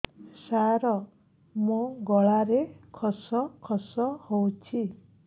ସାର ମୋ ଗଳାରେ ଖସ ଖସ ହଉଚି